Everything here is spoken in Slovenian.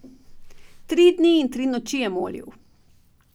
Tri dni in tri noči je molil.